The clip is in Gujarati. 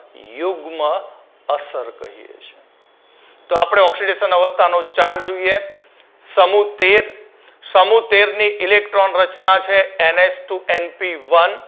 યુગ્મ અસર કહીએ છે. તો આપણે oxidation અવસ્થાનો chart જોઈએ સમુહ તેર સમુહ તેરની electron રચના છે NHtwoNPone